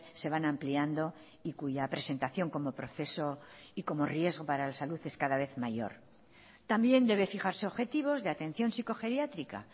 se van ampliando y cuya presentación como proceso y como riesgo para la salud es cada vez mayor también debe fijarse objetivos de atención psicogeriátrica